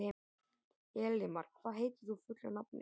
Elimar, hvað heitir þú fullu nafni?